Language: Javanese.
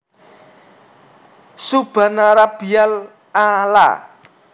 Subhanarabbiyal a laa